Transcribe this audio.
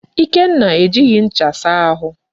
Ikenna ejighị ncha asa ahụ.